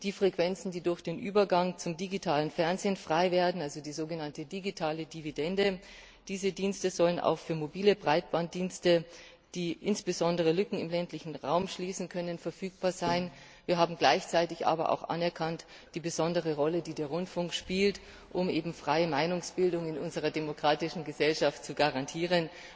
Die Frequenzen, die durch den Übergang zum digitalen Fernsehen freiwerden also die sogenannte digitale Dividende sollen auch für mobile Breitbanddienste, die insbesondere Lücken im ländlichen Raum schließen können, verfügbar sein. Wir haben gleichzeitig aber auch die besondere Rolle anerkannt, die der Rundfunk spielt, um freie Meinungsbildung in unserer demokratischen Gesellschaft zu garantieren.